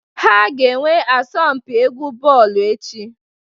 Ha ga-enwe asọmụ mpị egwu bọọlụ echi.